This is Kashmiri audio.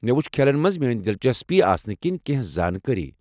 مےٚ وُچھِ کھیلن منٛز میٲنۍ دلچسپی آسنہٕ کِنۍ کیٚنٛہہ زانٛکٲری ۔